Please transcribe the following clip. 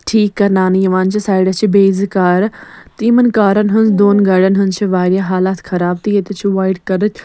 ٹھیٖکھ کرناونہٕ یِوان زِ سایڈس چھ بیٚیہِ زٕ کارٕ تہٕ یِمن کارن ہٕنٛز دوٚن گاڑٮ۪ن ہٕنٛزچھ واریاہ حالاتھ خراب تہٕ ییٚتٮ۪تھ چھ وایٹ .کلرٕکۍ